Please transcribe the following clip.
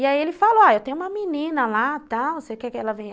E aí ele falou, ó, eu tenho uma menina lá, tal, você quer que ela venha?